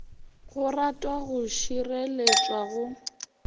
go ratwa go šireletšwa go